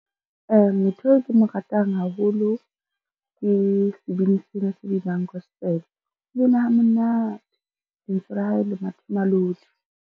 Motho eo ke mo ratang haholo ke sebini sena se binang gospel, o bina ha monate lentswe la hae le mathemalodi.